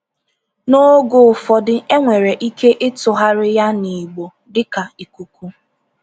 N’oge ụfọdụ, e nwere ike ịtụgharị ya n’Igbo dịka “ikuku.”